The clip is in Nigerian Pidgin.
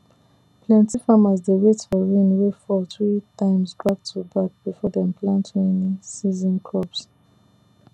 plenty farmers dey wait for rain wey fall three times back to back before dem plant rainy season crops